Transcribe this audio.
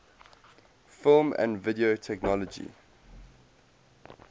film and video technology